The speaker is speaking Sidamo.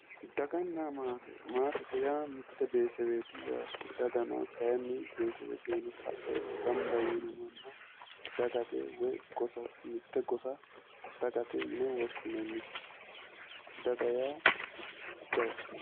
Daganna maate maatete yaa mitte betesaweeti yaate. daga kaayiinni beetesewetenni sae gamba yiino manna dagate woyi gosa dagate yine woshshinannise. daga yaa jawate.